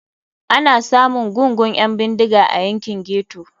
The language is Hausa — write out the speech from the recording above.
Ana samun gungun 'yan bindiga a yankin ghetto.